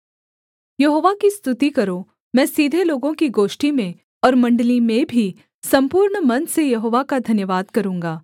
यहोवा की स्तुति करो मैं सीधे लोगों की गोष्ठी में और मण्डली में भी सम्पूर्ण मन से यहोवा का धन्यवाद करूँगा